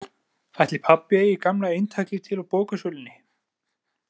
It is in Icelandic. Ætli pabbi eigi gamla eintakið til á bóksölunni?